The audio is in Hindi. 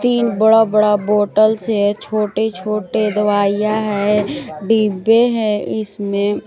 तीन बड़ा बड़ा बॉटल्स है छोटे छोटे दवाइयां है डिब्बे है इसमें।